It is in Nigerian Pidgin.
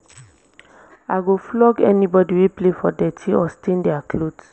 i go flog anybody wey play for dirty or stain their cloths